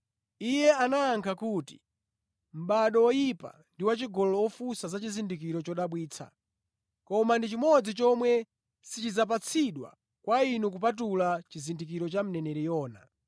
Iye anayankha kuti, “Mʼbado woyipa ndi wachigololo ufunsa za chizindikiro chodabwitsa! Koma ndi chimodzi chomwe sichidzapatsidwa kwa inu kupatula chizindikiro cha mneneri Yona.